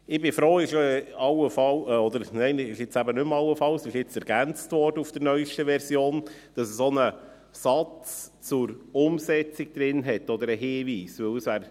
Ich bin froh, dass jetzt auch ein Satz oder Hinweis zur Umsetzung drinsteht.